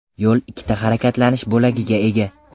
Yo‘l ikkita harakatlanish bo‘lagiga ega.